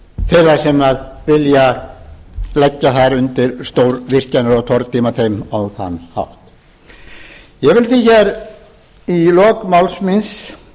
þeirra sem vilja leggja þær undir stórvirkjanir og tortíma þeim á þann hátt ég vil því hér í lok máls míns